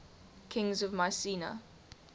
kings of mycenae